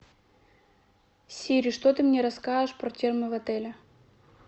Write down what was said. сири что ты мне расскажешь про термы в отеле